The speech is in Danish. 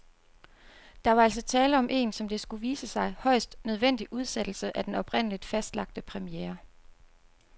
Der var altså tale om en, som det skulle vise sig, højst nødvendig udsættelse af den oprindeligt fastlagte premiere.